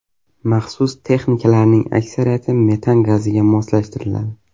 Maxsus texnikalarning aksariyati metan gaziga moslashtiriladi.